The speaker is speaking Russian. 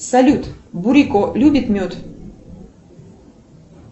салют бурико любит мед